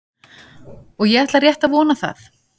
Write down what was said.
Og ég ætla rétt að vona það.